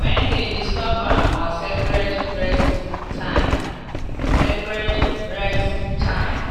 when dem disturb am on sacred rest time. sacred rest time.